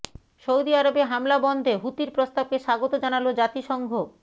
Saudi আরবে হামলা বন্ধে হুতির প্রস্তাবকে স্বাগত জানালো জাতিসংঘ